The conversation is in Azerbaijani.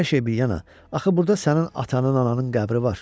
Hər şey bir yana, axı burada sənin atanın, ananın qəbri var.